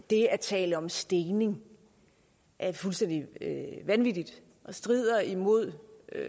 det at tale om stening er fuldstændig vanvittigt og strider imod